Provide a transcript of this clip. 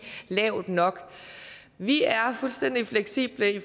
lavt nok vi er fuldstændig fleksible